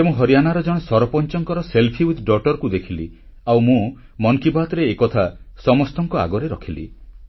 ଥରେ ମୁଁ ହରିଆନାର ଜଣେ ସରପଂଚଙ୍କର ନିଜ ଝିଅ ସହିତ ସେଲ୍ଫି କୁ ଦେଖିଲି ଆଉ ମୁଁ ମନ୍ କି ବାତ୍ରେ ଏକଥା ସମସ୍ତଙ୍କ ଆଗରେ ରଖିଲି